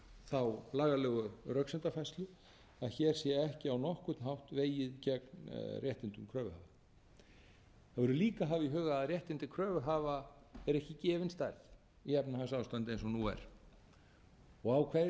þá lagalegu röksemdafærslu að hér sé ekki á nokkurn hátt vegið gegn réttindum kröfuhafa það verður líka að hafa í huga að réttindi kröfuhafa er ekki gefin stærð í efnahagsástandi eins og nú er á hverjum kröfuhafa sem telur að sér vegið